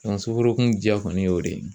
soforokun diya kɔni y'o de ye